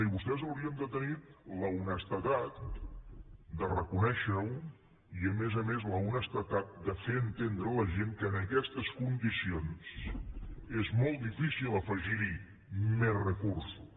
i vostès haurien de tenir l’honestedat de reconèixer ho i a més a més l’honestedat de fer entendre a la gent que en aquestes condicions és molt difícil afegir hi més recursos